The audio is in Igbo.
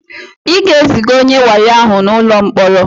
Ị ga-eziga onye wayo ahụ n'ụlọ mkpọrọ!